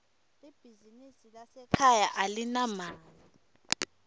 libizinsi lasekhaya alinamali